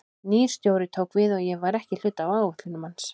Nýr stjóri tók við og ég var ekki hluti af áætlunum hans.